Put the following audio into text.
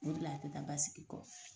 O re la a ti taa basigi kɔ.